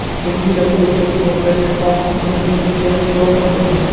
So‘nggi yillarda O‘zbekistonda mehmonxona biznesi yaxshi rivojlanmoqda.